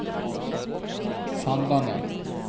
Sandane